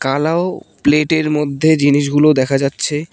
থালা ও প্লেটের মধ্যে জিনিস গুলো দেখা যাচ্ছে।